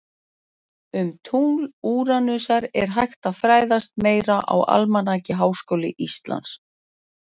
Um tungl Úranusar er hægt að fræðast meira á Almanaki Háskóla Íslands